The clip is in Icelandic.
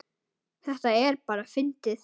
Þetta er bara fyndið.